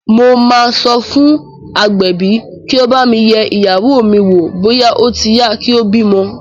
Mo máa sọ fún agbẹ̀bí kí ó bá mi yẹ ìyàwó mi wò bóyá ó ti yá kí ó bímọ